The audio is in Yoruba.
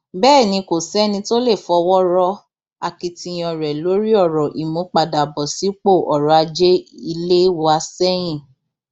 bẹẹ ni kò sẹni tó lè fọwọ rọ akitiyan rẹ lórí ọrọ ìmúpadàbọ sípò ọrọ ajé ilé wa sẹyìn